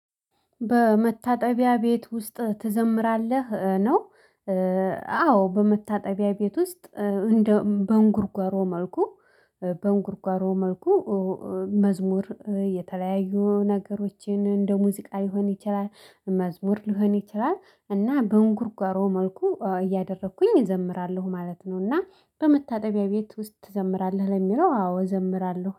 በመታጠቢያ ቤት ውስጥ ትዘምራለህ? ነው አዎ በመታጠቢያ ቤት ውስጥ እንደ በንጉርጓሮ መልኩ በንጉርጓሮ መልኩ መዝሙር የተለያዩ ነገሮችን እንደ ሙዚቃ ሊሆን ይችላል መዝሙር ሊሆን ይችላል እና በእንጉርጓሮ መልኩ እያደረኩኝ እዘምራለሁ ማለት ነው። እና በመታጠቢያ ቤት ውስጥ ትዘምራለህ ለሚለው አዎ እዘምራለሁ።